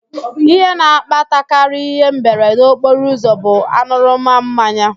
Ihe na-akpatakarị ịhe mberede okporoụzọ bụ an̄ụrụma mmanya